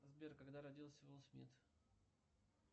сбер когда родился уилл смит